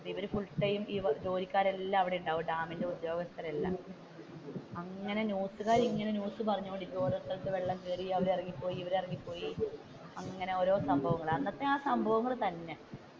ഇവർ full time ജോലിക്കാർ എല്ലാം അവിടെയുണ്ടാകും ഡാമിന്റെ ഉദ്യോഗസ്ഥർ എല്ലാം അങ്ങനെ ന്യൂസുക്കാർ ഇങ്ങനെ ന്യൂസ് പറഞ്ഞോണ്ട് ഇരിക്കുന്നു. ഓരോ സ്ഥലത്തു് വെള്ളം കേറി അല്ലേൽ അവർ ഇറങ്ങി പോയി ഇവർ ഇറങ്ങി പോയി അങ്ങനെ ഓരോ സംഭവങ്ങൾ അന്നത്തെ ആ സംഭവങ്ങൾ തന്നെ